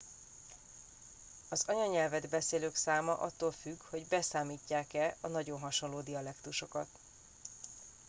az anyanyelvet beszélők száma attól függ hogy beszámítják e a nagyon hasonló dialektusokat